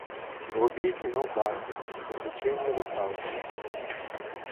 вруби кино барби приключения русалочки